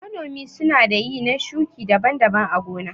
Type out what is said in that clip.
Manomi sunada ƴi na shuƙi daban-daban a gona.